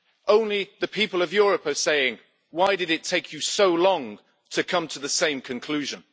Only the people of Europe are saying why did it take you so long to come to the same conclusion?'